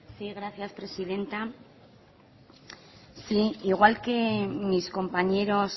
gracias presidenta igual que mis compañeros